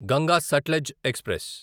Ganga Sutlej express